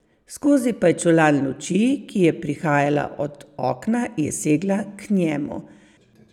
Skozi pajčolan luči, ki je prihajala od okna, je segla k njemu.